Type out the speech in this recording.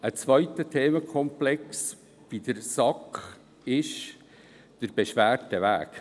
Ein zweiter Themenkomplex der SAK ist der Beschwerdeweg.